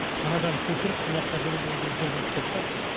мынадан көшіріп мыняққа әкелудің өзі үлкен жұмыс болды да